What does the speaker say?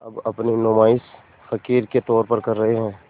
अब अपनी नुमाइश फ़क़ीर के तौर पर कर रहे हैं